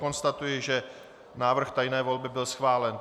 Konstatuji, že návrh tajné volby byl schválen.